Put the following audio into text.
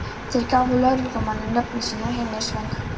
Þeir gáfu lögreglumanni nöfnin sín og heimilisföng.